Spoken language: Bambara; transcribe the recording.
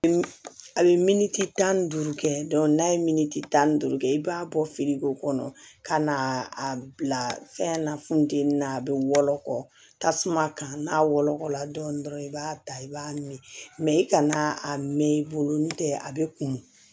A bɛ miniti tan ni duuru kɛ n'a ye miniti tan ni duuru kɛ i b'a bɔ feere ko kɔnɔ ka na a bila fɛn na funteni na a bɛ wɔlɔkɔ tasuma kan n'a wolola dɔɔnin dɔrɔn i b'a ta i b'a min i kana a mɛn i bolo ntɛ a bɛ kun